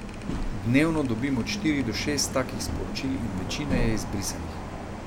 Dnevno dobim od štiri do šest takih sporočil in večina je izbrisanih.